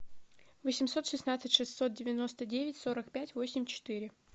восемьсот шестнадцать шестьсот девяносто девять сорок пять восемь четыре